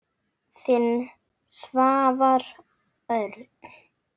Þinn, Svavar Örn.